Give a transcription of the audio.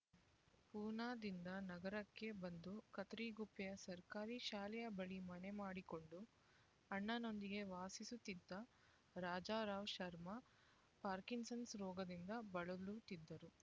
ಪೂನಾದಿಂದ ನಗರಕ್ಕೆ ಬಂದು ಕತ್ತರಿಗುಪ್ಪೆಯ ಸರ್ಕಾರಿ ಶಾಲೆಯ ಬಳಿ ಮನೆ ಮಾಡಿಕೊಂಡು ಅಣ್ಣನೊಂದಿಗೆ ವಾಸಿಸುತ್ತಿದ್ದ ರಾಜಾರಾವ್ ಶರ್ಮ ಪಾರ್ಕಿನ್‌ಸನ್ ರೋಗದಿಂದ ಬಳಲುತ್ತಿದ್ದರು